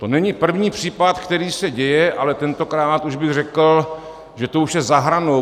To není první případ, který se děje, ale tentokrát bych řekl, že to už je za hranou.